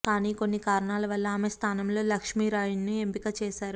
కానీ కొన్ని కారణాల వల్ల ఆమె స్థానంలో లక్ష్మీరాయ్ను ఎంపిక చేశారు